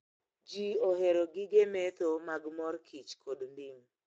Jii ohero gige medho mag mor kich kod ndim